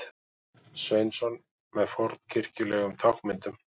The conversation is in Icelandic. Sveinsson með fornkirkjulegum táknmyndum.